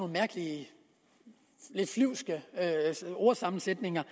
mærkelige lidt flyvske ordsammensætninger